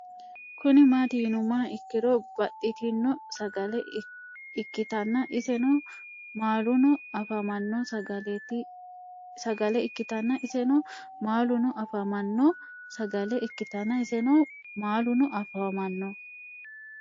Kuni mati yinumoha ikiro babaxitino sagale ikitana iseno maaluno afamano sagale ikitana iseno maaluno afamano sagale ikitana iseno maaluno afamano